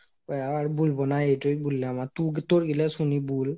আর বুলবোনা এইটাই বুলাম আর তুই তোর গুলা শুনি বুল,